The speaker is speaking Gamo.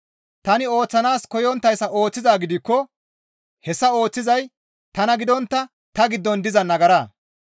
Tani ooththanaas koyonttayssa ooththizaa gidikko hessa ooththizay tana gidontta ta giddon diza nagara.